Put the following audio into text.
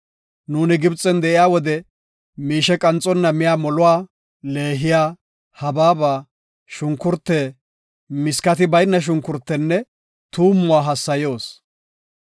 Nuuni Gibxen de7iya wode miishe qanxonna miya moluwa, leehiya, habaabe, shunkurte, miskati bayna shunkurtenne tuumuwa hassayoos.